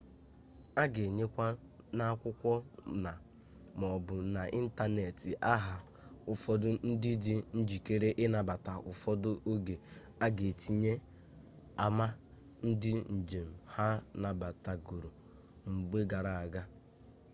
a ga-enyekwa n'akwụkwọ na/maọbụ n'ịntanetị aha ụfọdụ ndị dị njikere ịnabata; ụfọdụ oge a ga-etinye ama ndị njem ha nabatagoro mgbe gara aga